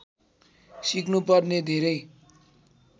सिक्नुपर्ने धेरै